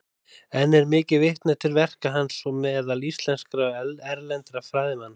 Enn er mikið vitnað til verka hans meðal íslenskra og erlendra fræðimanna.